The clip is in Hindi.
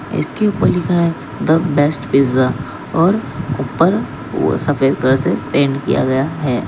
इसके ऊपर लिखा है द बेस्ट पिज्जा और ऊपर सफेद कलर से पेंट किया गया हैं।